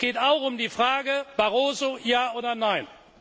ja. Es geht auch um die Frage Barroso ja oder nein?